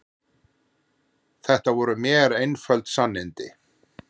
Þetta voru mér einföld sannindi.